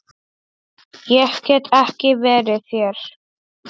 Ég get ekki verið hér.